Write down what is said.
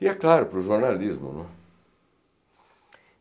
E é claro, para o jornalismo, né.